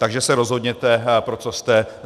Takže se rozhodněte, pro co jste.